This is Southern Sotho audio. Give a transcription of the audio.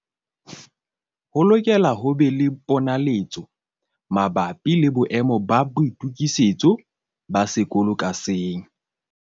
Ho lokela ho be le ponaletso mabapi le boemo ba boitokisetso ba sekolo ka seng.